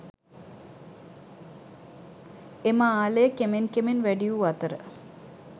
එම ආලය කෙමෙන් කෙමෙන් වැඩි වූ අතර